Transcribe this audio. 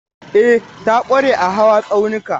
E, ta ƙware a hawa tsaunuka.